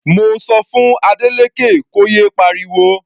Mo sọ fún Adeleke kó yé pariwo.